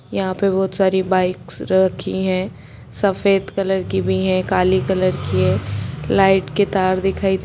यहाँ पर बहुत सारी बाइक्स रखी हैं सफ़ेद कलर की भी हैं काली कलर की है लाइट के तार दिखाई दे--